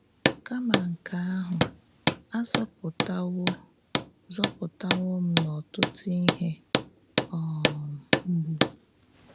Kàmá nke àhụ, a zọ̀pụ̀tàwò zọ̀pụ̀tàwò m n’ọ̀tụ̀tụ̀ íhè um mgbù.”